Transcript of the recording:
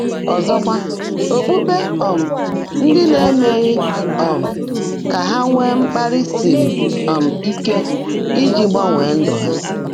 Ọ́zọ́kwá, ókpukpé um ndị́ á émeèghị́ um kà há nwèé mkpàlị́ sírí um íke íjí gbánwé ndụ́ há.